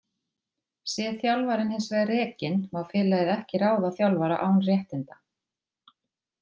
Sé þjálfarinn hins vegar rekinn má félagið ekki ráða þjálfara án réttinda.